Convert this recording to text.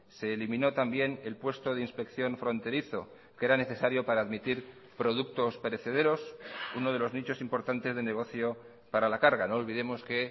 se eliminó también el puesto de inspección fronterizo que era necesario para admitir productos perecederos uno de los nichos importantes de negocio para la carga no olvidemos que